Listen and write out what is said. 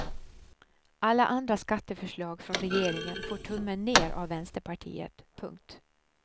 Alla andra skatteförslag från regeringen får tummen ner av vänsterpartiet. punkt